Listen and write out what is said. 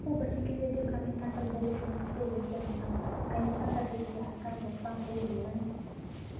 ал сол бәсекелерде комментатор болып жұмыс істеу өте маңызды комментатор ретінде айтар болсам бұл менің